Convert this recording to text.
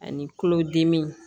Ani tulodimi